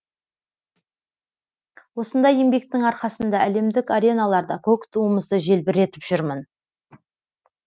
осындай еңбектің арқасында әлемдік ареналарда көк туымызды желбіретіп жүрмін